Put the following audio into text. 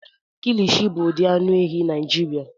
Kilishi bụ ụdị anụ ehi Naijiria.